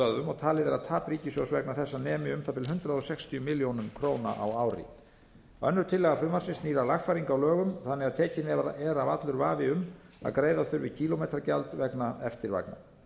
og talið er að tap ríkissjóðs vegna þessa nemi um það bil hundrað sextíu milljónir króna á ári önnur tillaga frumvarpsins snýr að lagfæringu á lögum þannig að tekinn er af allur vafi um að greiða þurfi kílómetragjald vegna eftirvagna